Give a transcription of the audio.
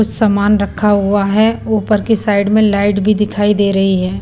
कुछ सामान रखा हुआ है ऊपर के साइड में लाइट भी दिखाई दे रही है।